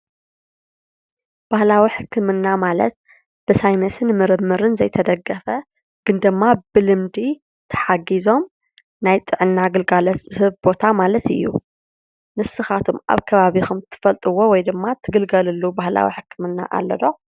ባህላዊ ሕክምና ማለት ብሳይነስን ምርምርን ዘይተደገፈ ግን ድማ ብልምዲ ተሓጊዞም ናይ ጥዕና ግልጋሎት ዝህብ ቦታ ማለት እዩ ። ንስካትኩም አብ ከባቢኩም ትፈልጥዎ ወይ ድማ ትግልገልሉ ባህላዊ ሕክምና አሎ ዶ?